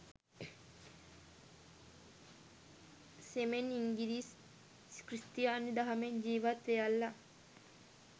සෙමෙන්ඉංගිරිස් ක්‍රිස්තියානි දහමෙන් ජීවත් වෙයල්ලා